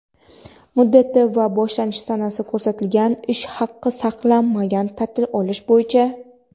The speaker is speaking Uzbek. muddati va boshlanish sanasi ko‘rsatilgan ish haqi saqlanmagan taʼtil olish bo‘yicha;.